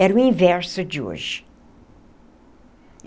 Era o inverso de hoje.